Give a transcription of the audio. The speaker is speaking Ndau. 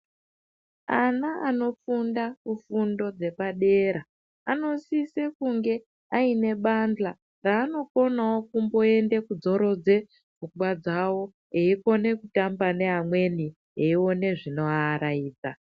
Ana anofunda kufundo dzepadera anosise kunge aine bandhla raanokone kumboendewo kodzorodze pfungwa dzawo eikone kutamba neamweni eione zvinoavaraidza